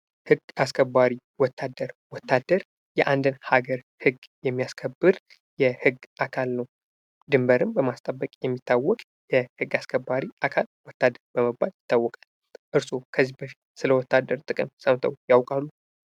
ህግ አስከባሪ ወታደር ወታደር የአንድን ሀገር ህግ የሚያስከብር የህግ አካል ነው። ድንበርም በማስከበር የሚታወቅ የህግ አስከባሪ አካል ወታደር በመባል ይታወቃል። እርሶ ከዚህ በፊት ስለ ወታደር ጥቅም ሰምተው ያውቃሉ።